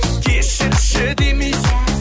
кешірші демейсің